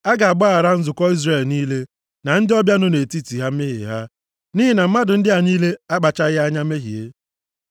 A ga-agbaghara nzukọ Izrel niile na ndị ọbịa nọ nʼetiti ha mmehie ha, nʼihi na mmadụ ndị a niile akpachaghị anya mehie.